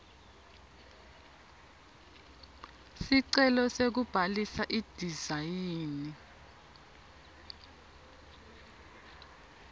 sicelo sekubhalisa idizayini